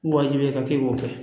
Wajibiya ka k'e k'o kɛ